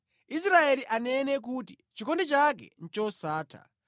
Israeli anene kuti: “Chikondi chake ndi chosatha.”